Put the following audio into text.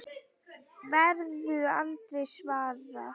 Verður aldrei svarað.